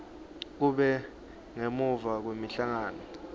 kube ngemuva kwemhlangano